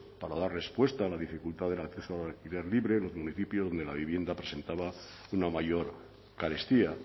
para dar respuesta a la dificultad del acceso al alquiler libre en los municipios donde la vivienda presentaba una mayor carestía